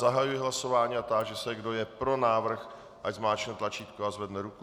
Zahajuji hlasování a táži se, kdo je pro návrh, ať zmáčkne tlačítko a zvedne ruku.